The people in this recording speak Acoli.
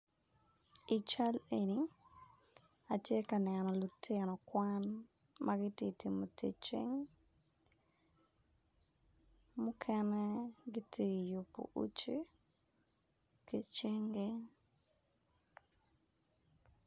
I cal eni atye ka neno lutino kwan ma giti timo tic cing muken giti yubo uci ki cingi